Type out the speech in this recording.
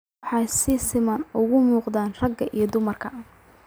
Waxay si siman ugu muuqataa ragga iyo dumarka.